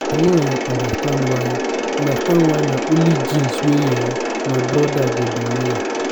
i no um understand why understand why na only jeans wey um my broda go dey wear